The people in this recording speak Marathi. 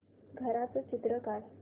घराचं चित्र काढ